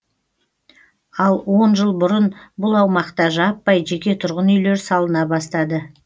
ал он жыл бұрын бұл аумақта жаппай жеке тұрғын үйлер салына бастады